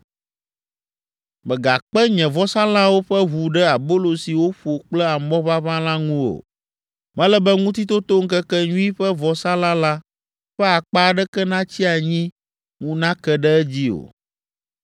“Megakpe nye vɔsalãwo ƒe ʋu ɖe abolo si woƒo kple amɔ ʋaʋã la ŋu o. Mele be Ŋutitotoŋkekenyui ƒe vɔsalã lã ƒe akpa aɖeke natsi anyi ŋu nake ɖe edzi o.